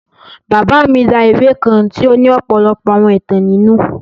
Baba mi ra ìwe kan tì o ni ọ́pọlọpọ́ àwọn ìtan ninu.